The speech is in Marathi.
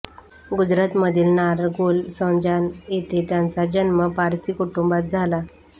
गुजरातमधील नारगोल संजाण येथे त्यांचा जन्म पारसी कुटुंबात झाला